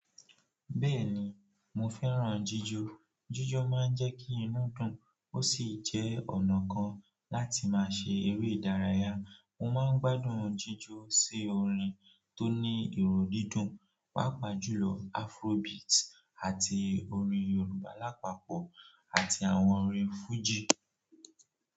Bẹ́ẹ̀ni, mò fẹ́ràn jíjọ. Jíjọ máà ń jẹ́ kí inú dùn, ó sì jẹ́ ọ̀nà kan láti máà ṣe èré ìdáràyá. Mò máa ń gbádùn jíjọ sí orin tó ní ìró díndùn, pàápàá jùlọ Afrobeat àti òrin Yòrùbá lápàpọ̀ àti àwọn òrin fújì.